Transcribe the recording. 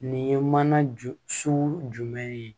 Nin ye mana ju sugu jumɛn ye